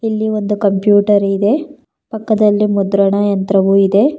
ಇಲ್ಲಿ ಒಂದು ಕಂಪ್ಯೂಟರ್ ಇದೆ ಪಕ್ಕದಲ್ಲಿ ಮುದ್ರಣ ಯಂತ್ರವು ಇದೆ.